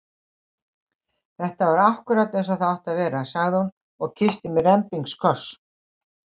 Þetta var akkúrat eins og það átti að vera! sagði hún og kyssti mig rembingskoss.